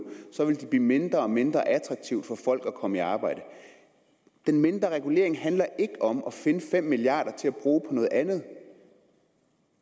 ville det blive mindre og mindre attraktivt for folk at komme i arbejde den mindre regulering handler ikke om at finde fem milliard kroner til at bruge på noget andet